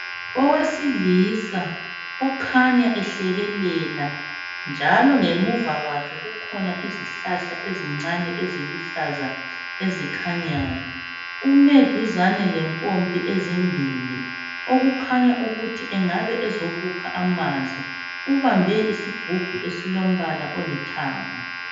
Owesilisa okhanya ehlekelela njalo ngemuva kwakhe kukhona isihlahla ezincane eziluhlaza ezikhanyayo ume duzane lempompi ezimbili okukhanya ukuthi engabe ezokukha amanzi ubambe isigubhu esilombala olithanga.